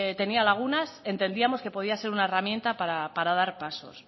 tenia lagunas entendíamos que podía ser una herramienta para dar pasos